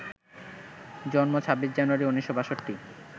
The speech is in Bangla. জন্ম ২৬ জানুয়ারি ১৯৬২